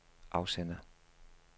afsender